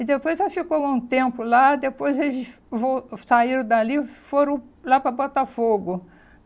E depois ela ficou algum tempo lá, depois eles vol saíram dali e foram lá para Botafogo.